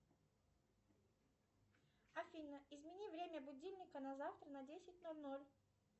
афина измени время будильника на завтра на десять ноль ноль